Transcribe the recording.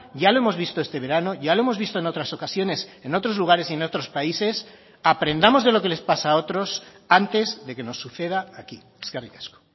ya lo hemos visto este verano ya lo hemos visto en otras ocasiones en otros lugares y en otros países aprendamos de lo que les pasa a otros antes de que nos suceda aquí eskerrik asko